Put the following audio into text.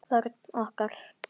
Vörn okkar